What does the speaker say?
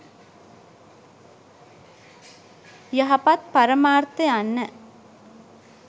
යහපත් පරමාර්ථ යන්න